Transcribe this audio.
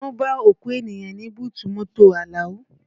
Wọ́n bá òkú ènìyàn nínú búùtù mọ́tò Alao